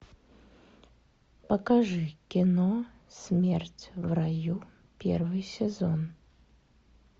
покажи кино смерть в раю первый сезон